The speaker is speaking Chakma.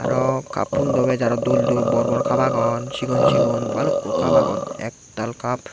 raw cappundw bes aro dol dol borbor cup agon chigon chigon balukko cup agon ektal cup.